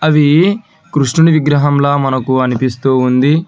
ఇది కృష్ణుని విగ్రహం లా మనకు అనిపిస్తూ ఉంది.